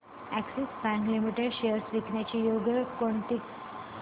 Axis bank limited shares विकण्याची योग्य वेळ कोणती